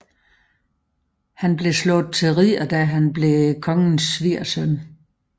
Han blev slået til ridder da han blev kongens svigersøn